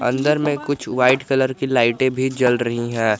अंदर में कुछ व्हाइट कलर की लाइटें भी जल रही है।